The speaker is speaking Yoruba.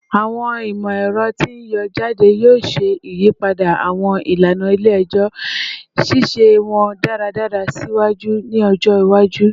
Awọn imọ-ẹrọ ti n yọ jade yoo ṣe iyipada awọn ilana ile-ẹjọ, ṣiṣe wọn daradara siwaju sii ni ọjọ iwaju